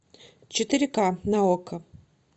четыре ка на окко